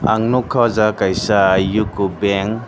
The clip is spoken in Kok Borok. ang nugkha aw jaaga kaisa uko bank.